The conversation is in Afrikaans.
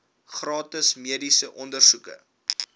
gratis mediese ondersoeke